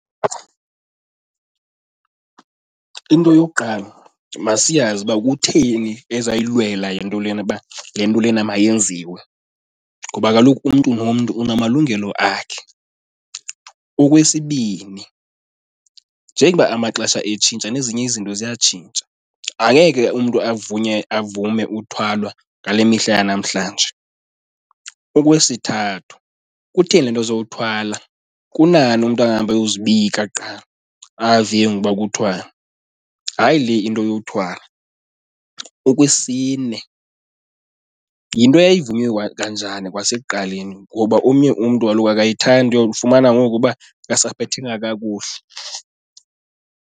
Into yokuqala, masiyazi uba kutheni ezayilwela le nto lena uba le nto lena mayenziwe ngoba kaloku umntu nomntu unamalungelo akhe. Okwesibini njengoba amaxesha etshintsha nezinye izinto ziyatshintsha, angeke umntu avume uthwalwa ngale mihla yanamhlanje. Okwesithathu kutheni le nto ezokuthwala? Kunani umntu ahambe ayozibika qha, ave ke ngoku uba kuthiwani? Hayi le into yokuthwala. Okwesine yinto eyayivunywe kanjani kwasekuqaleni ngoba omnye umntu kaloku akayithandi, uyokufumana ngoku uba akasaphethekanga kakuhle.